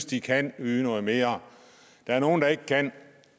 de kan yde noget mere der er nogle der ikke kan